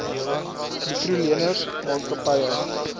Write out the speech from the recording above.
mikro leners maatskappye